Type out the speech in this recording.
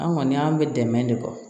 An kɔni an bɛ dɛmɛ de bɔ